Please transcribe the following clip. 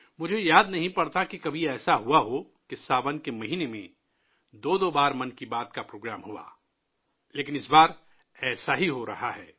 مجھے یاد نہیں کہ کبھی ساون کے مہینے میں 'من کی بات' پروگرام دو بار ہوا ہو لیکن اس بار ایسا ہی ہو رہا ہے